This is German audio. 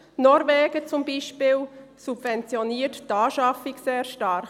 Norwegen zum Beispiel subventioniert die Anschaffung sehr stark.